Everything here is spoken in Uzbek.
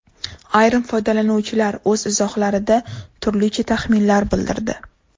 Ayrim foydalanuvchilar o‘z izohlarida turlicha taxminlar bildirdi.